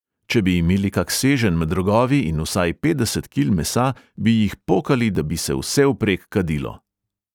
Če bi imeli kak seženj med rogovi in vsaj petdeset kil mesa, bi jih pokali, da bi se vsevprek kadilo.